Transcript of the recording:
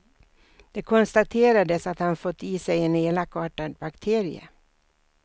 Det konstaterades att han fått i sig en elakartad bakterie.